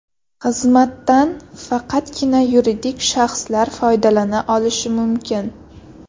Xizmatdan faqatgina yuridik shaxslar foydalana olishi mumkin.